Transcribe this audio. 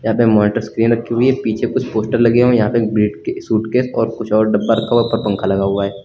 यहां पे monitor screen रखी हुई है। पीछे कुछ पोस्टर लगे हुए हैं। यहां पे एक ब्रीटके सूटकेस और कुछ और डब्बा रखा हुआ है। ऊपर पंखा लगा हुआ है।